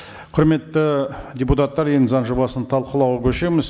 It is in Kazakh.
құрметті депутаттар енді заң жобасын талқылауға көшеміз